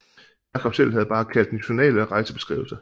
Jakob selv havde bare kaldt den Journal eller Reisebeskrivelse